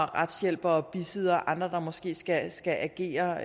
retshjælp og bisiddere og andre der måske skal skal agere